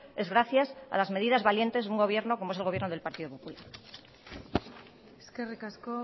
es gracias a las medidas valientes de un gobierno como es el gobierno del partido popular eskerrik asko